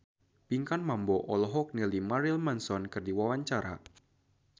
Pinkan Mambo olohok ningali Marilyn Manson keur diwawancara